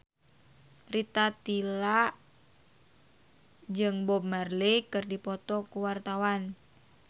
Rita Tila jeung Bob Marley keur dipoto ku wartawan